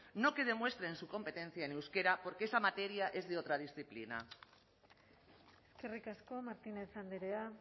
no que demuestren su competencia en euskera porque esa materia es de otra disciplina eskerrik asko martínez andrea